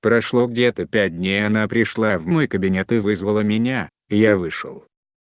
прошло где-то пять дней она пришла в мой кабинет и вызвала меня и я вышел